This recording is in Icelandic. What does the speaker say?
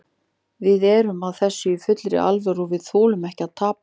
Við erum að þessu í fullri alvöru og við þolum ekki að tapa.